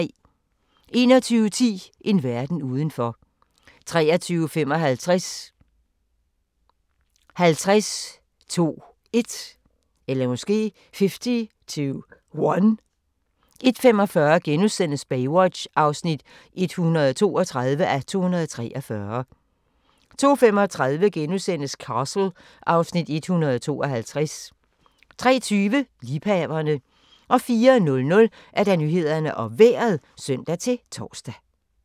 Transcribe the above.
21:10: En verden udenfor 23:55: 50 to 1 01:45: Baywatch (132:243)* 02:35: Castle (Afs. 152)* 03:20: Liebhaverne 04:00: Nyhederne og Vejret (søn-tor)